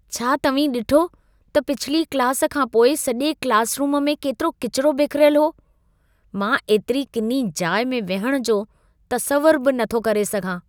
छा तव्हीं डि॒ठो त पिछली क्लासु खां पोइ सॼो क्लासरूमु में केतिरो किचिरो बिखिरियलु हो? मां एतिरी किनी जाइ में विहणु जो तसवुरु बि नथो करे सघां।